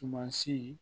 Tuma si